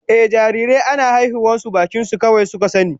Ehh, jarirai ana haihuwar su bakin su kawai suka sani